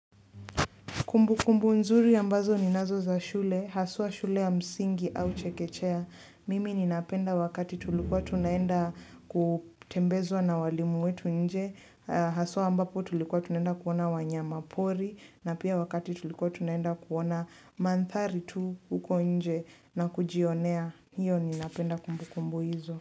Kumbukumbu nzuri ambazo ninazo za shule Haswa shule ya msingi au chekechea. Mimi ninapenda wakati tulikuwa tunaenda kutembezwa na walimu wetu nje. Haswa ambapo tulikuwa tunaenda kuona wanyama pori. Na pia wakati tulikuwa tunaenda kuona mandhari tu huko nje na kujionea. Hiyo ninapenda kumbukumbu hizo.